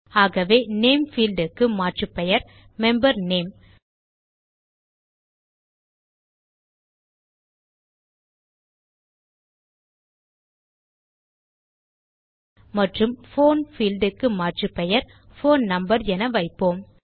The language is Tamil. ஆகவே நேம் பீல்ட் க்கு மாற்றுப்பெயர் மெம்பர் நேம் மற்றும் போன் பீல்ட் க்கு மாற்றுப்பெயர் போன் நம்பர் என வைப்போம்